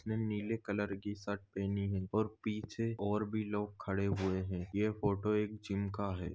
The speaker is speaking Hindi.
मे निले कलर कि शर्ट पेहनी है और पिछे और भी लोग खडे हुए है ये फोटो एक जिम का है।